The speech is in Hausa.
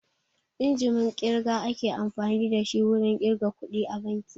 Injimin ƙirga ake amfani da shi wurin ƙirga kuɗi a banki